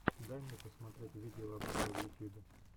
дай мне посмотреть видеообзоры в ютьюбе